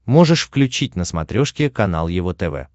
можешь включить на смотрешке канал его тв